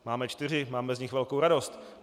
Máme čtyři, máme z nich velkou radost.